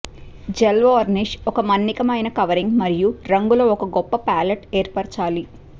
gel varnish ఒక మన్నికైన covering మరియు రంగులు ఒక గొప్ప పాలెట్ ఏర్పరచాలి